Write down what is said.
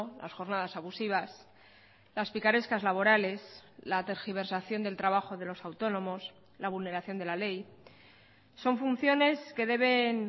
las jornadas abusivas las picarescas laborales la tergiversación del trabajo de los autónomos la vulneración de la ley son funciones que deben